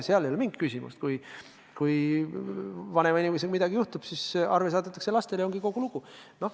Seal ei ole mingit küsimust: kui vanema inimesega midagi juhtub, siis arve saadetakse lastele, ja ongi kogu lugu.